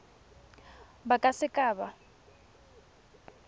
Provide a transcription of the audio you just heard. ba ka se ka ba